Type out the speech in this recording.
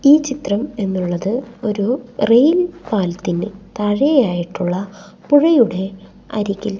ഈ ചിത്രം എന്നുള്ളത് ഒരു റെയിൽ പാലത്തിന്റെ താഴെ ആയിട്ടുള്ള പുഴയുടെ അരികിൽ--